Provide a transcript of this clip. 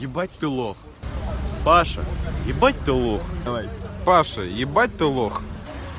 ебать ты лох паша ебать ты лох давай паша ебать ты лох